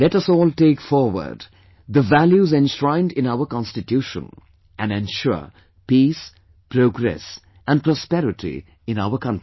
Let us all take forward the values enshrined in our Constitution and ensure Peace, Progress and Prosperity in our country